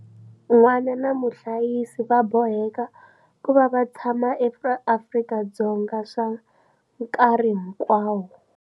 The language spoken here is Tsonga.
N'wana na muhlayisi va boheka ku va va tshama eAfrika-Dzonga swa nkarhi hinkwawo.